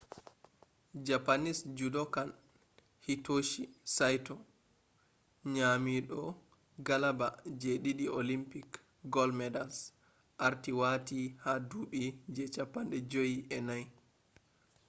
japanese judokan hitoshi saito nyamido galaba je didi olympic gold medals arti wati ha dubi je 54